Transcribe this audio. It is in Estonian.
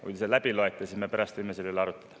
Kui te selle läbi loete, siis me võime pärast selle üle arutleda.